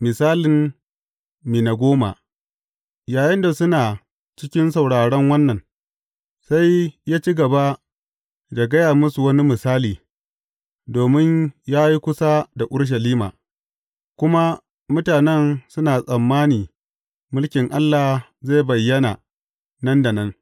Misalin mina goma Yayinda suna cikin sauraron wannan, sai ya ci gaba da gaya musu wani misali, domin ya yi kusa da Urushalima, kuma mutanen suna tsammani mulkin Allah zai bayyana, nan da nan.